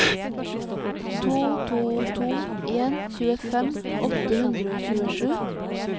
to to to en tjuefem åtte hundre og tjuesju